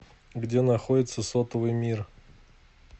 где находится сотовый мир